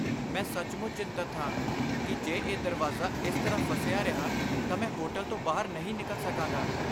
ਮੈਂ ਸੱਚਮੁੱਚ ਚਿੰਤਤ ਹਾਂ ਕਿ ਜੇ ਇਹ ਦਰਵਾਜ਼ਾ ਇਸ ਤਰ੍ਹਾਂ ਫਸਿਆ ਰਿਹਾ ਤਾਂ ਮੈਂ ਹੋਟਲ ਤੋਂ ਬਾਹਰ ਨਹੀਂ ਨਿਕਲ ਸਕਾਂਗਾ।